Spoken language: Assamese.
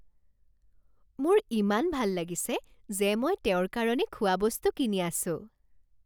মোৰ ইমান ভাল লাগিছে যে মই তেওঁৰ কাৰণে খোৱাবস্তু কিনি আছো